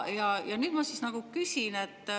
Ja nüüd ma küsin.